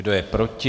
Kdo je proti?